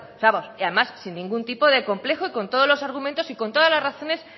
vamos y además sin ningún tipo de complejo y con todos los argumentos y con todas la razones